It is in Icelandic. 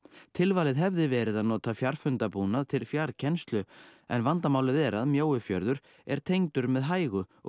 tilvalið hefði verið að nota fjarfundabúnað til fjarkennslu en vandamálið er að Mjóifjörður er tengdur með hægu og